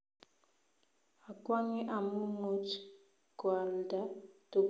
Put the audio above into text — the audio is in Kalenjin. Akwange amu muuch koaldo tuguk choe eng robinik chechang